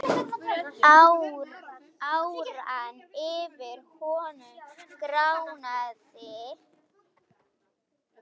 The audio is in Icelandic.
Áran yfir honum gránaði.